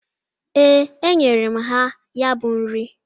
Ee, enyere m ha ya bụ nri.